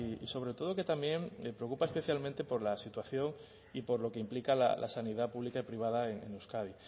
y sobre todo que también preocupa especialmente por la situación y por lo que implica la sanidad pública y privada en euskadi